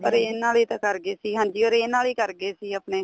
orange ਵਾਲੇ ਤਾਂ ਕਰ ਗਏ ਸੀ ਹਾਂਜੀ orange ਵਾਲੇ ਈ ਕਰ ਗਏ ਸੀ ਆਪਣੇ